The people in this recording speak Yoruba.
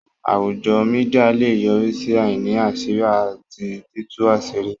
Àwùjọ Mídíà lè yọrí sí àìní àṣírí àti títú àṣírí